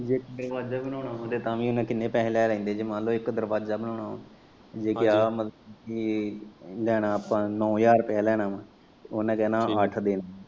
ਜੇ ਦਰਵਾਜਾ ਬਣਾਉਣਾ ਹੁੰਦਾ ਤਾਂ ਵੀ ਕਿੰਨੇ ਪੈਹੇ ਲੈ ਲੈਂਦੇ ਜੇ ਮੰਨ ਲੋ ਇੱਕ ਦਰਵਾਜਾ ਬਣਾਉਣਾ ਜੇ ਕਿਆ ਲੈਣਾ ਆਪਾਂ ਨੌਂ ਹਜਾਰ ਰੁਪਏ ਲੈਣਾ ਵਾ ਉਨੇ ਕੈਣਾ ਅੱਠ ਦੇਣਾ।